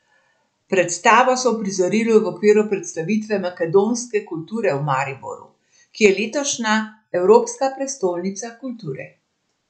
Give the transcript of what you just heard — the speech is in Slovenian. Predstavo so uprizorili v okviru predstavitve makedonske kulture v Mariboru, ki je letošnja evropska prestolnica kulture.